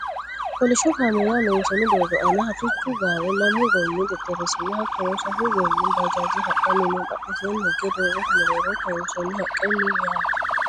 kolishsho kameelaho loonsooni doogo aana harrichu gaare lamu goommi xexxerrisinna hattono sasu goommi bajaaje hadhannni no badhensaanni higge doogote mereero kaansoonni haqqe no yaate